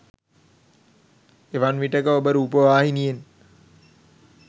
එවන් විටෙක ඔබ රූපවාහිනියෙන්